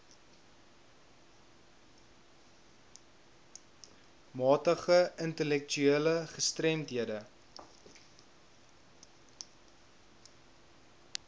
matige intellektuele gestremdhede